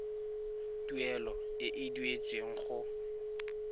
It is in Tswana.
tuelo e e duetsweng go